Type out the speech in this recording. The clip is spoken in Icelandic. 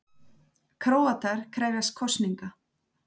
Króatar krefjast kosninga